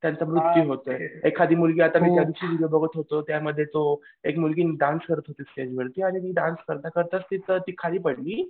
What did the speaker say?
त्यांचा मृत्यू होतोय एखादी मुलगी बघत होतो त्यामध्ये तो एक मुलगी डान्स करत होती स्टेजवरती आणि ती डान्स करता करताच ती खाली पडली.